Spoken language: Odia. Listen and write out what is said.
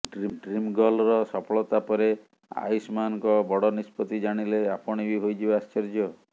ଡ୍ରିମ୍ଗର୍ଲର ସଫଳତା ପରେ ଆୟୁଷ୍ମାନ୍ଙ୍କ ବଡ଼ ନିଷ୍ପତ୍ତି ଜାଣିଲେ ଆପଣ ବି ହୋଇଯିବେ ଆଶ୍ଚର୍ଯ୍ୟ